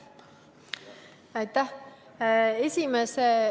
Aitäh!